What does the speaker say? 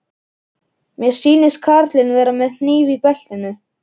Mér sýnist karlinn vera með hníf í beltinu.